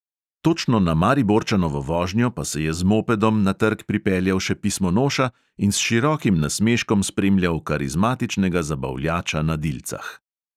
Točno na mariborčanovo vožnjo pa se je z mopedom na trg pripeljal še pismonoša in s širokim nasmeškom spremljal karizmatičnega zabavljača na dilcah.